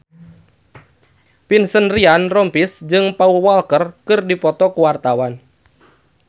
Vincent Ryan Rompies jeung Paul Walker keur dipoto ku wartawan